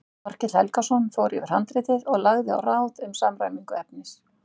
Þorkell Helgason fór yfir handritið og lagði á ráð um samræmingu efnis.